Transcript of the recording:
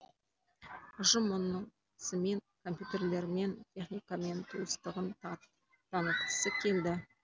ұжым мұнысымен компьютерлермен техникамен туыстығын танытқысы келді